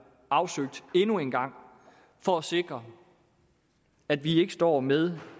afsøgt endnu en gang for at sikre at vi ikke står med